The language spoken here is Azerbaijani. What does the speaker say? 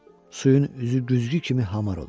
Suyun üzü güzgü kimi hamar olur.